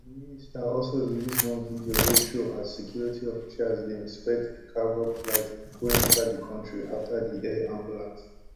di minister also release one video wey show as security officials dey inspect di cavok flight wey enta di kontri afta di air ambulance